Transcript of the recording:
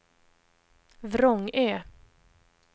Vrångö